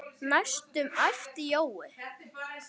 næstum æpti Jói.